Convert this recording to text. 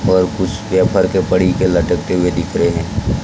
और कुछ पेपर के पड़ी के लटकते हुए दिख रहे हैं।